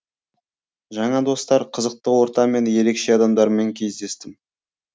жаңа достар қызықты орта мен ерекше адамдармен кездестім